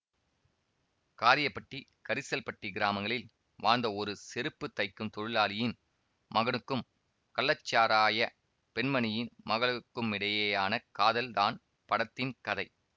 காரியப்பட்டி கரிசல்பட்டி கிராமங்களில் வாழ்ந்த ஒரு செருப்பு தைக்கும் தொழிலாளியின் மகனுக்கும் கள்ளச்சாராய பெண்மணியின் மகளுக்குமிடையேயான காதல் தான் படத்தின் கதை